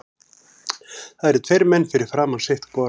Það eru tveir menn fyrir framan sitt hvora.